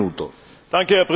Herr Präsident!